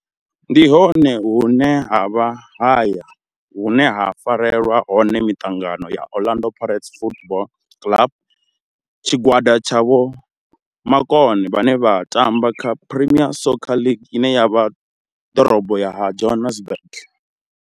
Ndi hone hune havha haya hune ha farelwa hone miṱangano ya Orlando Pirates Football Club. Tshigwada tsha vho makone vhane vha tamba kha Premier Soccer League ine ya vha ḓorobo ya Johannesburg.